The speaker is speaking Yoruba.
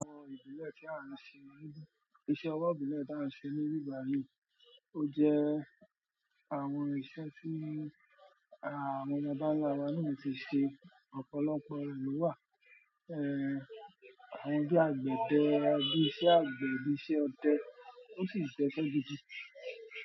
Àwọn ìbílẹ̀ tí a ń ṣe, iṣẹ́ ọwọ́ ìbílẹ̀ tí a ń ṣe ní ìgbà yìí ó jẹ́ àwọn iṣẹ́ tí àwọn baba ǹlá wa náà ti ṣe, ọ̀pọ̀lọpọ̀ rẹ̀ ló wà. Àwọn bí àgbẹ̀dẹ, bíi iṣẹ́ àgbẹ̀, bíi iṣẹ́ ọdẹ tó sì jẹ́ iṣẹ́ gidi.